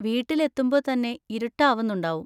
വീട്ടിലെത്തുമ്പോ തന്നെ ഇരുട്ട് ആവുന്നുണ്ടാവും.